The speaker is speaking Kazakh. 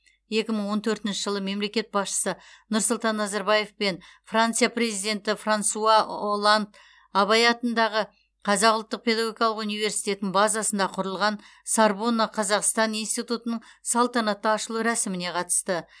екі мың он төртінші жылы мемлекет басшысы нұрсұлтан назарбаев пен франция президенті франсуа олланд абай атындағы қазақ ұлттық педагогикалық университетінің базасында құрылған сорбонна қазақстан институтының салтанатты ашылу рәсіміне қатысты